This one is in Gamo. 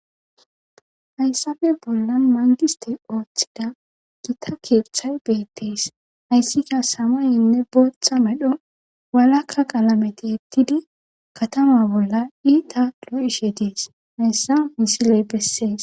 Hayssape bollan mangiste ooththida gita keeththay beettees hayssika samayenne booththa medho walakka qalameti ettidi katama bolla iita lo7ishe dees hayssa misiley bessees.